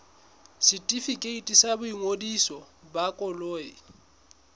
setefikeiti sa boingodiso ba koloi